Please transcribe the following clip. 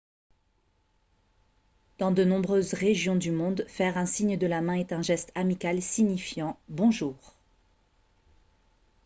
dans de nombreuses régions du monde faire un signe de la main est un geste amical signifiant « bonjour »